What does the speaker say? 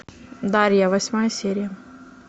дарья восьмая серия